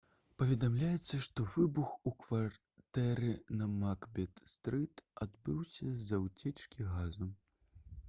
паведамляецца што выбух у кватэры на макбет стрыт адбыўся з-за ўцечкі газу